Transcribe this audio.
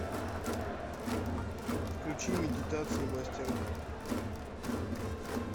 включи медитации мастера